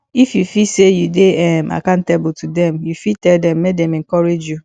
if you feel say you de um accountable to dem you fit tell dem make dem encourage you